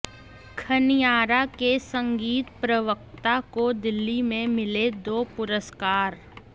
खनियारा के संगीत प्रवक्ता को दिल्ली में मिले दो पुरस्कार